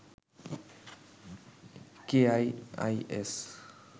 KIIS